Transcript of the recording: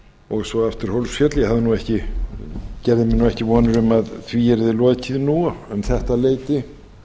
og svo aftur hólsfjöll ég gerði mér nú ekki vonir um að því yrði lokið nú um þetta leyti